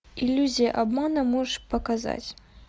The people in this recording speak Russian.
иллюзия обмана можешь показать